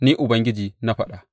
Ni Ubangiji na faɗa.